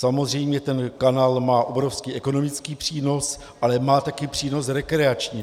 Samozřejmě ten kanál má obrovský ekonomický přínos, ale má také přínos rekreační.